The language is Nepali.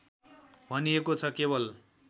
भनिएको छ केवल